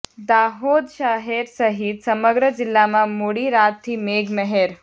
દાહોદ શહેર સહિત સમગ્ર જિલ્લામાં મોડી રાતથી મેઘ મહેર